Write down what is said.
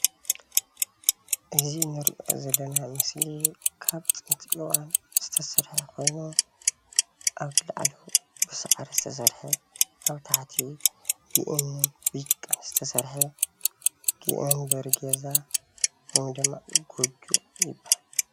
እዚ እንሪኦ ዘለና ምስሊ ካብ ጥንቲ እዋን ዝተሰርሓ ኮይኑ ኣብ ላዕሉ ብሳዕሪ ዝተሰርሓ ኣብ ታሕቲ ብእምኒን ጭቃን ዝተሰርሐ መንበሪ ገዛ ወይ ድማ ጎጆ ይባሃል፡፡